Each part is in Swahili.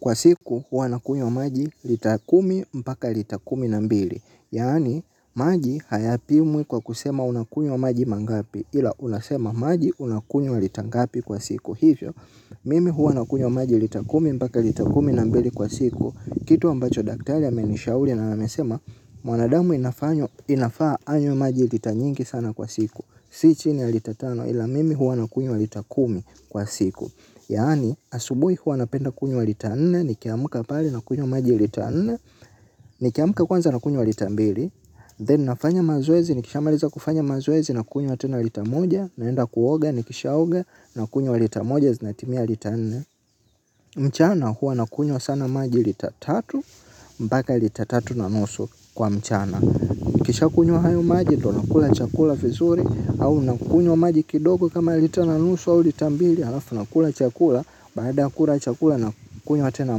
Kwa siku huwa nakunywa maji lita kumi mpaka lita kumi na mbili. Yaani maji hayapimwi kwa kusema unakunywa maji mangapi ila unasema maji unakunywa lita ngapi kwa siku. Hivyo, mimi huwa nakunywa maji lita kumi mpaka lita kumi na mbili kwa siku. Kitu ambacho daktari amenishauri na amesema, mwanadamu inafaa anywe maji lita nyingi sana kwa siku. Si chini ya lita tano ila mimi huwa nakunywa lita kumi kwa siku. Yaani asubuhi huwa napenda kunywa lita nne. Nikiamka pale nakunywa maji lita nne. Nikiamka kwanza nakunywa lita mbili Then nafanya mazoezi nikishamaliza kufanya mazoezi nakunywa tena lita moja. Naenda kuoga nikishaoga nakunywa lita moja zinatimia lita nne. Mchana huwa nakunywa sana maji lita tatu mpaka lita tatu na nusu kwa mchana nikishakunywa hayo maji ndiyo nakula chakula vizuri au nakunywa maji kidogo kama lita na nusu au lita mbili alafu nakula chakula, baada ya kula chakula nakunywa tena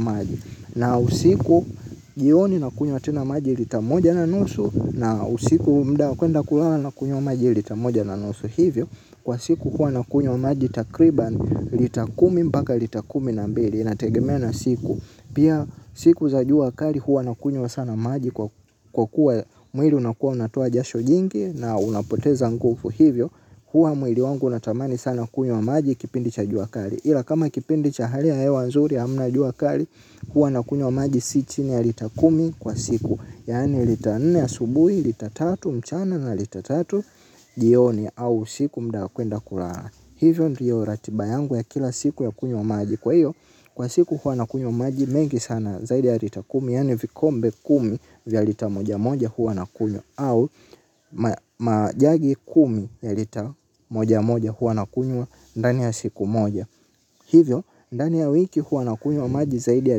maji na usiku. Jioni nakunywa tena maji lita moja na nusu na usiku muda kwenda kulala nakunywa maji lita moja na nusu hivyo. Kwa siku huwa nakunywa maji takriban lita kumi mpaka lita kumi na mbili. Inategemea na siku. Pia siku za jua kali huwa nakunywa sana maji kwa kuwa mwili unakuwa unatoa jasho jingi. Na unapoteza nguvu hivyo. Huwa mwili wangu natamani sana kunywa maji kipindi cha jua kali. Ila kama kipindi cha hali ya hewa nzuri ya hamna jua kali. Huwa nakunywa maji si nchini ya lita kumi kwa siku. Yaani lita nne asubuhi, lita tatu mchana na lita tatu. Jioni au usiku muda kwenda kulala. Hivyo ndiyo ratiba yangu ya kila siku ya kunywa maji. Kwa hiyo kwa siku huwa nakunywa maji mengi sana zaidi ya lita kumi. Yaani vikombe kumi vya lita moja moja huwa nakunywa au majagi kumi ya lita moja moja huwa nakunywa ndani ya siku moja hivyo ndani ya wiki huwa nakunywa maji zaidi ya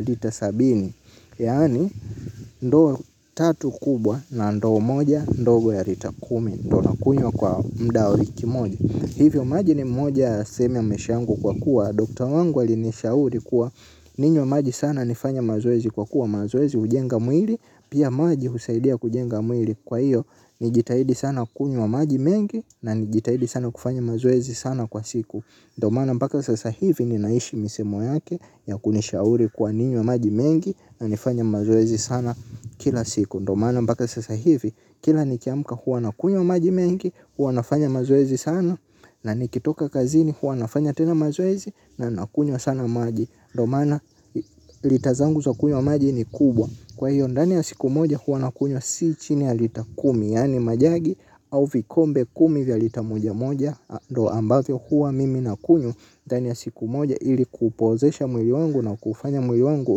lita sabini yaani ndoo tatu kubwa na ndoo moja ndogo ya lita kumi ndio nakunywa kwa muda wa wiki moja hivyo maji ni moja ya sehemu maisha yangu kwa kuwa daktari wangu alinishauri kuwa ninywe maji sana nifanye mazoezi kwa kuwa mazoezi hujenga mwili pia maji husaidia kujenga mwili kwa hiyo. Nijitahidi sana kunywa maji mengi na nijitahidi sana kufanya mazoezi sana kwa siku. Ndio maana mpaka sasa hivi ninaishi misemo yake ya kunishauri kuwa ninywe maji mengi na nifanye mazoezi sana kila siku ndio maana mpaka sasa hivi kila nikiamka huwa nakunywa maji mengi huwa nafanya mazoezi sana na nikitoka kazini huwa nafanya tena mazoezi na nakunywa sana maji ndio maana lita zangu za kunywa maji ni kubwa. Kwa hiyo ndani ya siku moja huwa nakunywa si chini ya lita kumi yaani majagi au vikombe kumi vya lita moja moja ndio ambavyo huwa mimi nakunywa ndani ya siku moja ili kuupoozesha mwili wangu na kuufanya mwili wangu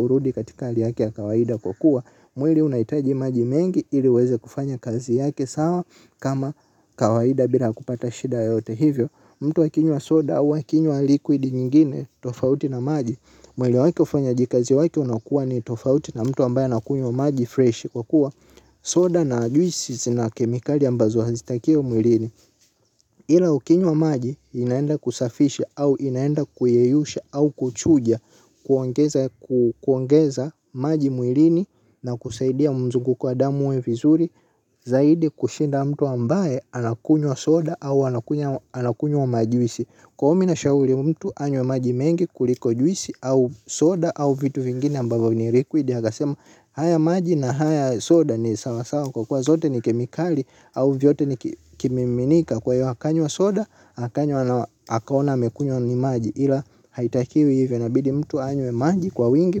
urudi katika hali yake ya kawaida kwa kuwaa. Mwili unahitaji maji mengi ili uweze kufanya kazi yake sawa kama kawaida bila kupata shida yoyote hivyo. Mtu akinywa soda akinywa likuidi nyingine tofauti na maji. Mwili wake ufanyaji kazi wake unakuwa ni tofauti na mtu ambaye anakunywa maji freshi kwa kuwa soda na juisi zina kemikali ambazo hazitakiwi mwilini. Ila ukinywa wa maji inaenda kusafisha au inaenda kuyeyusha au kuchuja kuongeza maji mwilini na kusaidia mzunguko wa damu uwe vizuri. Zaidi kushinda mtu ambaye anakunywa soda au anakunywa majuisi. Kwa ombi na shauri mtu anywe maji mengi kuliko juisi au soda au vitu vingine ambavyo vina liquidi akasema haya maji na haya soda ni sawasawa kwa kuwa zote ni kemikali au vyote ni vikimiminika kwa hiyo akanywa soda akanywa na akaona amekunywa ni maji ila haitakiwi hivyo inabidi mtu anywe maji kwa wingi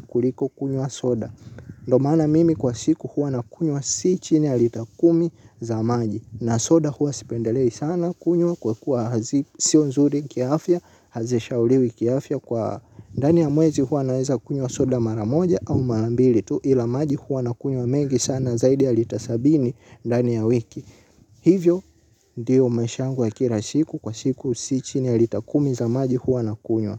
kuliko kunywa soda ndio maana mimi kwa siku huwa nakunywa si chini ya lita kumi za maji na soda huwa sipendelei sana kunywa kwa kuwa sio nzuri kiafya hazishauriwi kiafya kwa ndani ya mwezi huwa naweza kunywa soda mara moja au mara mbili tu ila maji huwa nakunywa mengi sana zaidi ya lita sabini ndani ya wiki. Hivyo ndiyo maisha yangu ya kila siku kwa siku si chini ya lita kumi za maji huwa nakunywa.